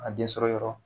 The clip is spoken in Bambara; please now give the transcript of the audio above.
A den sɔrɔ yɔrɔ